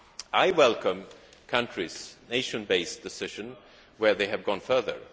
I welcome country or nation based decisions which have gone further.